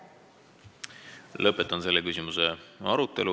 Lõpetan selle küsimuse arutelu.